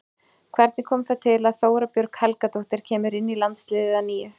Hvernig kom það til að Þóra Björg Helgadóttir kemur inn í landsliðið að nýju?